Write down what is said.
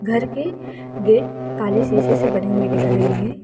घर के गेट काले शीशे से बने हुए दिख रही हैं।